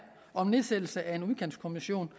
om en nedsættelse af en udkantskommission